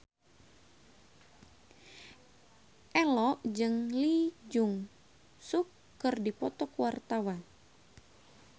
Ello jeung Lee Jeong Suk keur dipoto ku wartawan